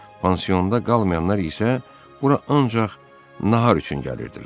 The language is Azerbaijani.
Pansionda qalmayanlar isə bura ancaq nahar üçün gəlirdilər.